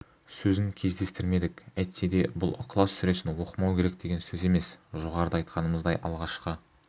сөзін кездестірмедік әйтсе де бұл ықылас сүресін оқымау керек деген сөз емес жоғарыда айтқанымыздай алғашқы